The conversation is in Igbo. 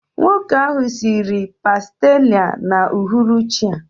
Nwoke ahụ siri pàstilla n'uhuruchi a